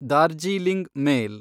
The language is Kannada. ದಾರ್ಜೀಲಿಂಗ್ ಮೇಲ್